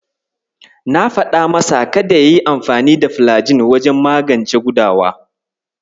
Na faɗa masa kada yayi amfani da filagil wajen magance gudawa.